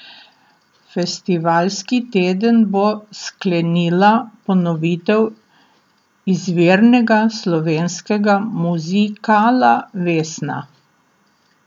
Festivalski teden bo sklenila ponovitev izvirnega slovenskega muzikala Vesna.